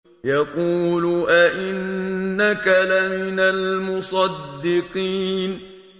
يَقُولُ أَإِنَّكَ لَمِنَ الْمُصَدِّقِينَ